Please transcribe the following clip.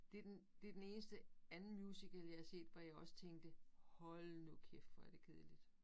Det den det den eneste anden musical jeg har set hvor jeg også tænkte hold nu kæft hvor er det kedeligt